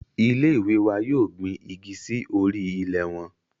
Ile-iwe wa yoo gbin igi si ori ilẹ wọn